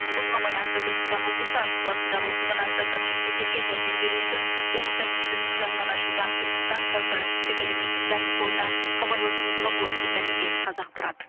осыған байланысты түркістан облысы арыс қаласындағы оқиғадан зардап шеккендерге жәрдем беру үшін облыс әкімшілігінің жанынан ашылған түркістан корпоративтік әлеуметтік даму қорына хабарласуыңызға болады деп мәлімдеді қазақпарат